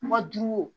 Ma duuru wo